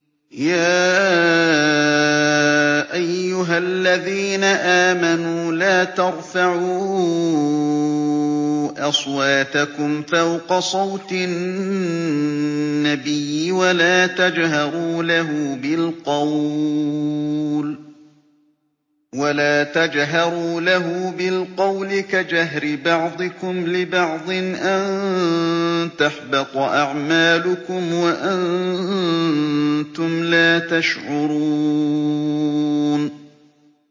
يَا أَيُّهَا الَّذِينَ آمَنُوا لَا تَرْفَعُوا أَصْوَاتَكُمْ فَوْقَ صَوْتِ النَّبِيِّ وَلَا تَجْهَرُوا لَهُ بِالْقَوْلِ كَجَهْرِ بَعْضِكُمْ لِبَعْضٍ أَن تَحْبَطَ أَعْمَالُكُمْ وَأَنتُمْ لَا تَشْعُرُونَ